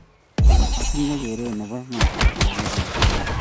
Atinye keret nebo iman kole kawo Kibet Gaa